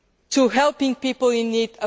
commitment to helping people